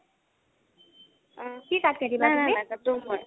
অ'অ' কি cut কাটিবা তুমি?